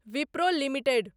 Wipro limited